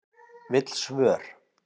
Vill svör